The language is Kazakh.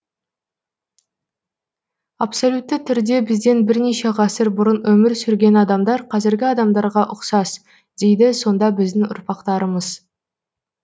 абсолютті түрде бізден бірнеше ғасыр бұрын өмір сүрген адамдар қазіргі адамдарға ұқсас дейді сонда біздің ұрпақтарымыз